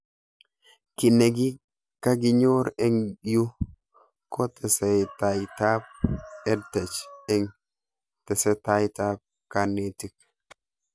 Kiy ne kakinyor eng' yuu ko tesetaitab EdTech eng' tesetait ab kanetik